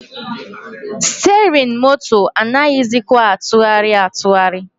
Stirin moto a anaghịzịkwa atụgharị atụgharị.